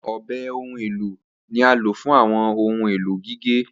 Awọn ọbẹ ohun elo ni a lo fun awọn ohun elo gige.